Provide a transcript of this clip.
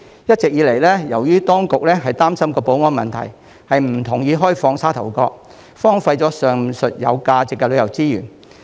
一直以來，當局擔心保安問題，不同意開放沙頭角，上述有價值的旅遊資源因而荒廢。